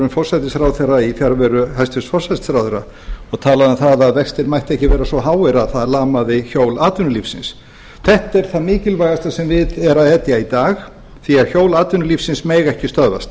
forsætisráðherra í fjarveru hæstvirtur forsætisráðherra og talaði um það að vextir mættu ekki vera svo háir að það lamaði hjól atvinnulífsins þetta er það mikilvægasta sem við er að etja í dag því hjól atvinnulífsins mega ekki stöðvast